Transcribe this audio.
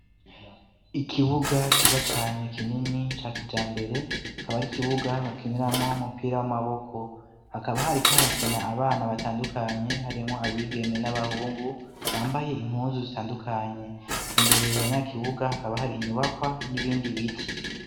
Ikibuga ciza cane kinini ca kijambere kaba ari kibuga bakiniramwo umupira w'amaboko ,hakaba hari ko harakina abana batandukanye, harimwo abigeme n'abahungu, bambaye impunzu zitandukanye, imbere ya nyakibuga hakaba hari inyubakwa n'ibindi biti.